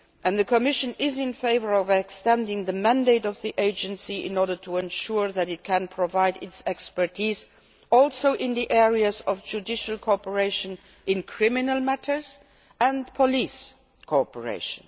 The Commission is in favour of extending the mandate of the agency to ensure that it can also provide its expertise in the areas of judicial cooperation in criminal matters and police cooperation.